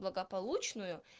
благополучную